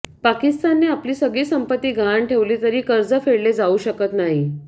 पाकिस्तानने आपली सगळी संपत्ती गहाण ठेवली तरी कर्ज फेडले जाऊ शकत नाही